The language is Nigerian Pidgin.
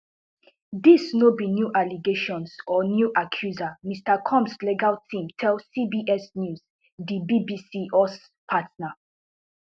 dis no be new allegations or new accusers mr combs legal team tell cbs news di bbc us partner